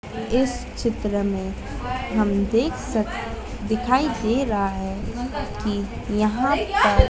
इस चित्र में हम देख सक दिखाई दे रहा है कि यहां पर--